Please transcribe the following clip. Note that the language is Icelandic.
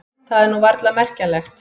Það var nú varla merkjanlegt.